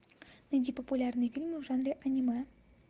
найди популярные фильмы в жанре аниме